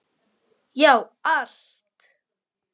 Já, allt!